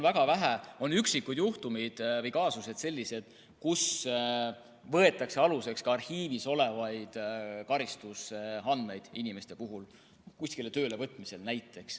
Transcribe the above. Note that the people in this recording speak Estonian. Väga vähesed, üksikud juhtumid või kaasused on sellised, mille korral võetakse aluseks ka arhiivis olevad karistusandmed, näiteks kuskile töölevõtmisel.